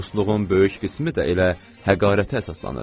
Dostluğun böyük qismi də elə həqarətə əsaslanır.